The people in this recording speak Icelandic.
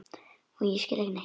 Og ég skil ekki neitt.